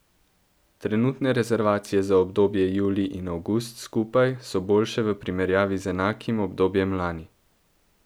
Trenutne rezervacije za obdobje julij in avgust skupaj so boljše v primerjavi z enakim obdobjem lani.